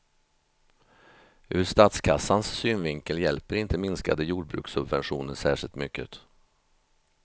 Ur statskassans synvinkel hjälper inte minskade jordbrukssubventioner särskilt mycket.